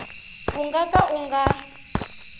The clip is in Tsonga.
u nga ka u nga